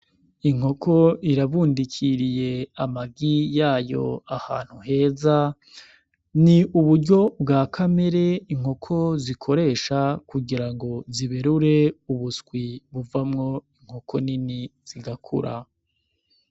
Inkoko irabundikiriye amagi yayo ahantu heza, ni uburyo bwa kamere inkoko zikoresha kugira ngo ziberure ubuswi buvamwo inkoko nini zigakura.